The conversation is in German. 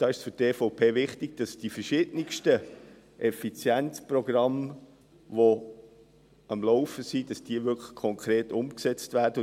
Für die EVP ist es wichtig, dass die verschiedensten Effizienzprogramme, die am Laufen sind, konkret umgesetzt werden.